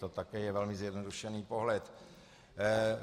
To také je velmi zjednodušený pohled.